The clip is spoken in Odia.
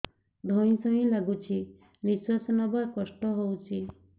ଧଇଁ ସଇଁ ଲାଗୁଛି ନିଃଶ୍ୱାସ ନବା କଷ୍ଟ ହଉଚି